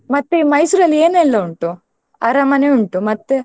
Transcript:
ಮತ್ತೆ Mysore ಅಲ್ಲಿ ಏನೆಲ್ಲಾ ಉಂಟು? ಅರಮನೆ ಉಂಟು, ಮತ್ತೆ?